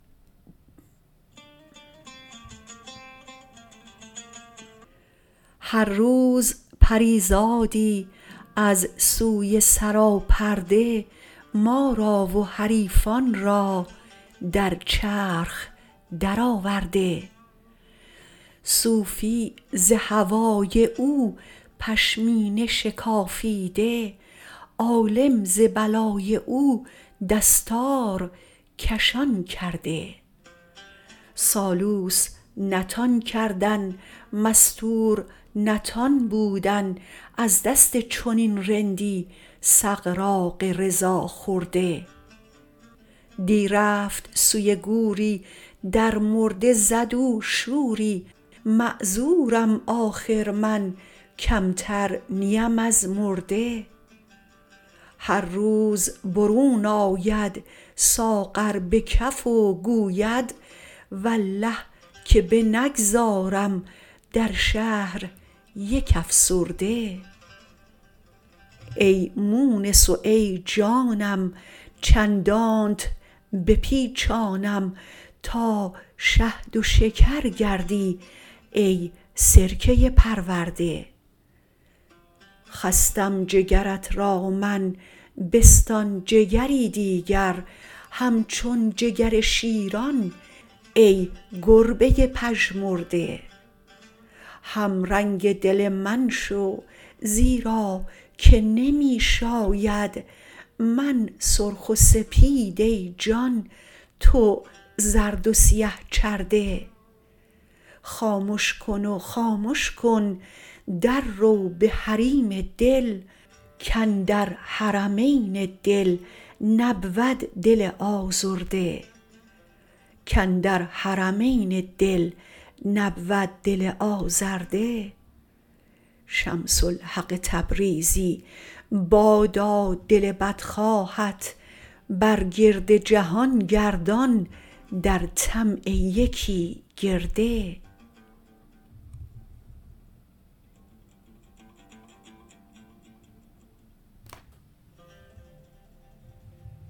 هر روز پری زادی از سوی سراپرده ما را و حریفان را در چرخ درآورده صوفی ز هوای او پشمینه شکافیده عالم ز بلای او دستار کشان کرده سالوس نتان کردن مستور نتان بودن از دست چنین رندی سغراق رضا خورده دی رفت سوی گوری در مرده زد او شوری معذورم آخر من کمتر نیم از مرده هر روز برون آید ساغر به کف و گوید والله که بنگذارم در شهر یک افسرده ای مونس و ای جانم چندانت بپیچانم تا شهد و شکر گردی ای سرکه پرورده خستم جگرت را من بستان جگری دیگر همچون جگر شیران ای گربه پژمرده همرنگ دل من شو زیرا که نمی شاید من سرخ و سپید ای جان تو زرد و سیه چرده خامش کن و خامش کن دررو به حریم دل کاندر حرمین دل نبود دل آزرده شمس الحق تبریزی بادا دل بدخواهت بر گرد جهان گردان در طمع یکی گرده